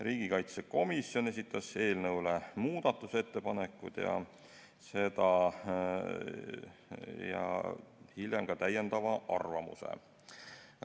Riigikaitsekomisjon esitas eelnõu kohta muudatusettepanekud ja hiljem ka täiendava arvamuse.